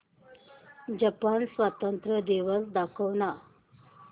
Japan स्वातंत्र्य दिवस दाखव ना